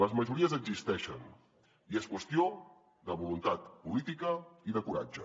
les majories existeixen i és qüestió de voluntat política i de coratge